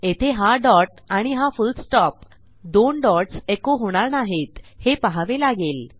येथे हा डॉट आणि हा फुल्ल स्टॉप दोन डॉट्स एको होणार नाहीत हे पहावे लागेल